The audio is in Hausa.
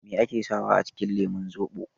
Me ake sawa a cikin lemun zobo?